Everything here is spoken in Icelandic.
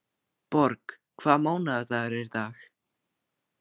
Borg, hvaða mánaðardagur er í dag?